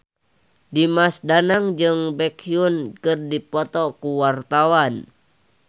Dimas Danang jeung Baekhyun keur dipoto ku wartawan